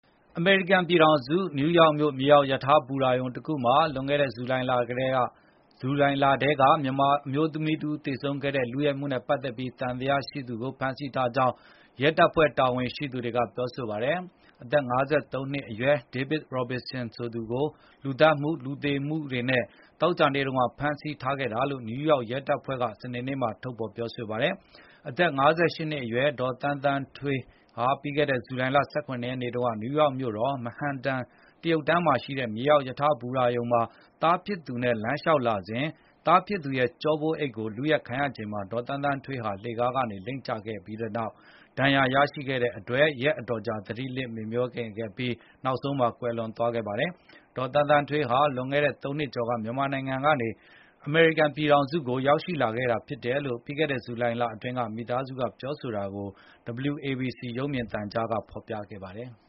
အမေရိကန်ပြည်ထောင်စု နယူးယောက်မြို့ မြေအောက်ရထား ဘူတာရုံတခုမှာ လွန်ခဲ့တဲ့ ဇူလိုင်လထဲက မြန်မာအမျိုးသမီးတဦး သေဆုံးခဲ့တဲ့ လုယက်မှုနဲ့ပတ်သက်ပြီး သံသယရှိသူကို ဖမ်းဆီးထားကြောင်း ရဲတပ်ဖွဲ့ တာဝန်ရှိသူတွေက ပြောပါတယ်။ အသက် ၅၃ နှစ်အရွယ် David Robinson ကို လူသတ်မှု၊ လူသေစေမှုတွေနဲ့ သောကြာနေ့က ဖမ်းဆီးခဲ့တာလို့ နယူးယောက်ရဲတပ်ဖွဲ့က စနေနေ့မှာ ပြောဆိုလိုက်တာပါ။ အသက် ၅၈ နှစ်အရွယ် ဒေါ်သန်းသန်းထွေး ပြီးခဲ့တဲ့ ဇူလိုင်လ ၁၇ ရက်နေ့တုန်းက နယူးယောက် Manhattan တရုတ်တန်းမှာရှိတဲ့ မြေအောက်ရထားဘူတာရုံမှာ သားဖြစ်သူနဲ့အတူ လမ်းလျှောက်လာစဉ် သားဖြစ်သူရဲ့ ကျောပိုးအိတ်ကို လုယက်ခံရချိန်မှာ ဒေါ်သန်းသန်းထွေး လှေခါးကနေ လိမ့်ကျခဲ့တဲ့ ဒဏ်ရာနဲ့ ရက်အတော်ကြာ သတိလစ် မေ့မြောနေခဲ့ပြီး နောက်ဆုံးမှာ ကွယ်လွန်သွားခဲ့ပါတယ်။ ဒေါ်သန်းသန်းထွေးဟာ လွန်ခဲ့တဲ့ ၃ နှစ်ကျော်က မြန်မာနိုင်ငံကနေ အမေရိကန်ပြည်ထောင်စုကို ရောက်ရှိလာခဲ့တာဖြစ်တယ်လို့ ပြီးခဲ့တဲ့ ဇူလိုင်လအတွင်းက မိသားစုက ပြောဆိုတာကို WABC ရုပ်မြင်သံကြားက ဖော်ပြခဲ့ပါတယ်။